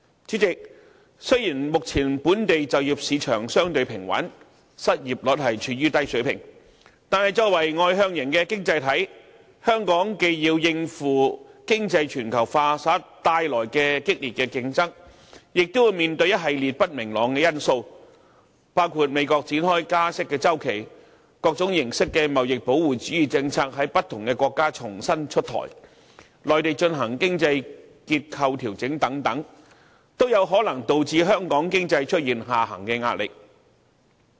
主席，雖然目前本地就業市場相對平穩，失業率處於低水平，但作為外向型經濟體，香港既要應付經濟全球化下的激烈競爭，亦要面對一系列不明朗因素，包括美國展開加息周期、各種形式的貿易保護主義政策在不同國家重新出台、內地進行經濟結構調整等，都有可能導致香港經濟出現下行壓力。